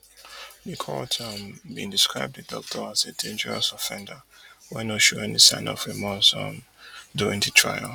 di court um bin describe di doctor as a dangerous offender wey no show any sign of remorse um during di trial